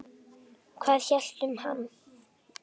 Hvað ég hélt um hann?